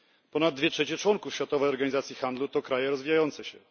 Ponad dwie trzecie członków Światowej Organizacji Handlu to kraje rozwijające się.